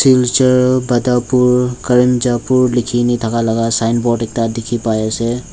silchar badarpur karimjapur likhi gina thaka laga signboard ekta dikhi pai ase.